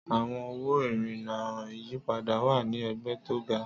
Àwọn owó ìrìnnà ìyípadà wà ní ẹ̀gbẹ́ tó ga.